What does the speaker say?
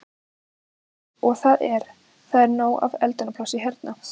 Guðný: Og það er, það er nóg af eldunarplássi hérna?